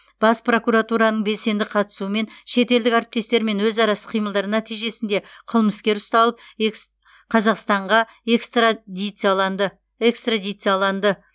бас прокуратураның белсенді қатысуымен шетелдік әріптестермен өзара іс қимылдар нәтижесінде қылмыскер ұсталып экс қазақстанға экстра дицияланды экстрадицияланды